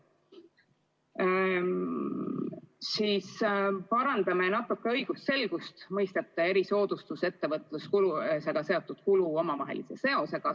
Me parandame natuke õigusselgust mõistete "erisoodustus" ja "ettevõtlusega seotud kulu" omavahelise seose puhul.